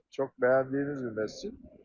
Çox bəyəndiyimiz bir məscid.